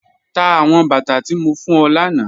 Tá awọn bátà tí mó fún ọ lána